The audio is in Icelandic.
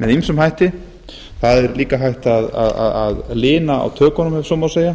með ýmsum hætti það er líka hægt að lina tökin ef svo má segja